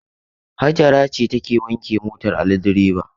Hajara ce take wanke motar Ali direba.